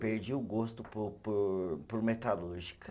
Perdi o gosto por por por metalúrgica.